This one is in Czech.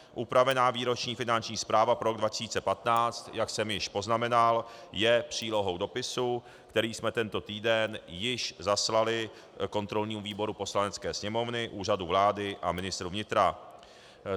Upravená výroční finanční zpráva pro rok 2015, jak jsem již poznamenal, je přílohou dopisu, který jsme tento týden již zaslali kontrolnímu výboru Poslanecké sněmovny, Úřadu vlády a ministru vnitra.